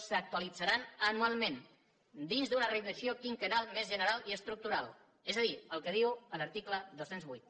s’actualitzaran anualment dins d’una revisió quinquennal més general i estructural és a dir el que diu l’article dos cents i vuit